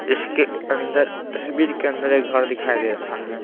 इसके अंदर तस्वीर के अंदर एक घर दिखाई दे रहा है।